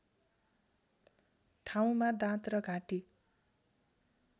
ठाउँमा दाँत र घाँटी